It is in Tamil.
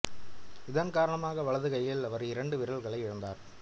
இதன் காரணமாக வலது கையில் அவர் இரண்டு விரல்களை இழந்தார்